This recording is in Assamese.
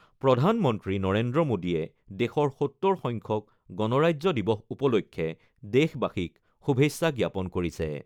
প্ৰধানমন্ত্ৰী নৰেন্দ্ৰ মোদীয়ে দেশৰ ৭০ সংখ্যক গণৰাজ্য দিৱস উপলক্ষে দেশবাসীক শুভেচ্ছা জ্ঞাপন কৰিছে।